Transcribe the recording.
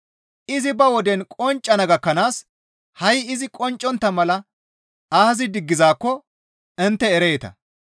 Izi ba woden qonccana gakkanaas ha7i izi qonccontta mala aazi diggizaakko intte ereeta.